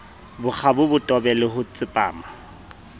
bokgabo botebo le ho tsepama